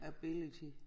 Ability